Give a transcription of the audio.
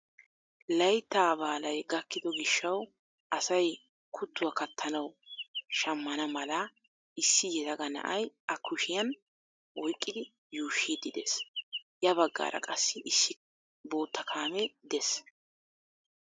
Layttaa baalay gakkido gishshawu asay kuttuwaa kattanawu shammana mala issi yelaga na'ay a kushshiyaan oyqqidi yuushshiidi dees. Ya baggaara qassi issi bootta kaamee dees.